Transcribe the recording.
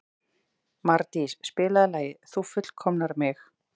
Mardís, spilaðu lagið „Þú fullkomnar mig“.